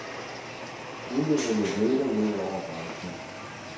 Ulykkerne vælter ned over branchen.